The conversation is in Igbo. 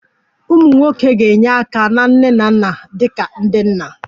Ụmụ nwoke ga-enye aka na nne na nna dị ka ndị nna